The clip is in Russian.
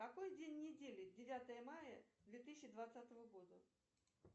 какой день недели девятое мая две тысячи двадцатого года